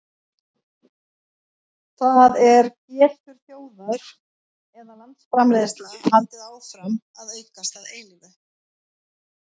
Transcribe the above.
það er getur þjóðar eða landsframleiðsla haldið áfram að aukast að eilífu